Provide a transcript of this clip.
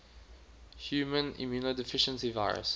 human immunodeficiency virus